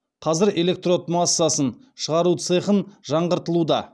қазір электрод массасын шығару цехын жаңғыртылуда